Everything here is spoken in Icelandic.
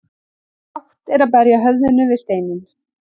Bágt er að berja höfðinu við steinninn.